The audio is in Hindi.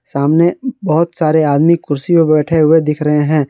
सामने बहुत सारे आदमी कुर्सीयो पर बैठे हुए दिख रहे है।